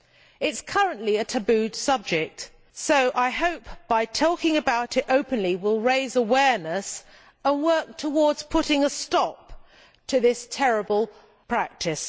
It is currently a taboo subject, so I hope that by talking about it openly we will raise awareness and work towards putting a stop to this terrible practice.